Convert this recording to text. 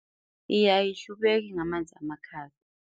Iye, ayihlubeki ngamanzi amakhaza.